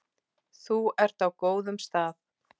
Þú ert á góðum stað.